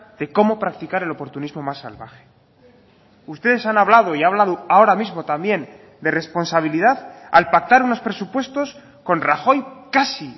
de cómo practicar el oportunismo más salvaje ustedes han hablado y ha hablado ahora mismo también de responsabilidad al pactar unos presupuestos con rajoy casi